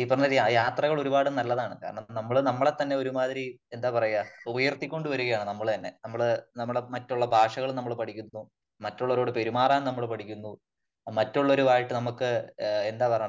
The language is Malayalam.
ഈ പറഞ്ഞ യാത്രകള് ഒരുപാട് നല്ലതാണ് . കാരണം നമ്മള് നമ്മളെ തന്നെ ഒരുമാതിരി എന്താ പറയാ ഉയർത്തി കൊണ്ടുവരികയാണ് നമ്മൾ തന്നെ . നമ്മള് നമ്മുടെ മറ്റുള്ള ഭാഷകള് നമ്മൾ പഠിക്കുന്നു . മറ്റുള്ളവരോട് പെരുമാറാൻ നമ്മള് പഠിക്കുന്നു. മറ്റുള്ളവരുമായിട്ട് നമുക്ക് ആ ഒരു എന്താ പറയുന്നെ